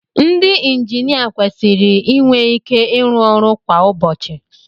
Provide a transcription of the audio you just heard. Ndị injinia kwesịrị inwe ike ịrụ ọrụ kwa ụbọchị